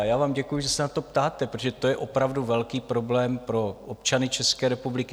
A já vám děkuju, že se na to ptáte, protože to je opravdu velký problém pro občany České republiky.